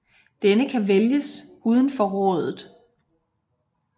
Denne kan vælges uden for rådet